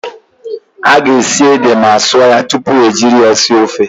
A ga-esi ede ma sụọ ya tupu ejiri ya sie ofe.